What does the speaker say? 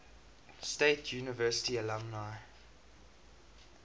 state university alumni